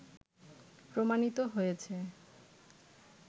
প্রমাণিত হয়েছে